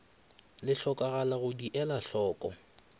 le hlokagalago di elwe hloko